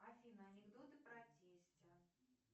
афина анекдоты про тестя